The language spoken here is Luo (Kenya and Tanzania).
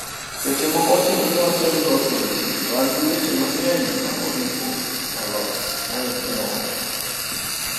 Seche moko ochuno ni watem loso weche to an gi weche mang'eny ma oripo walos" moyes ne owacho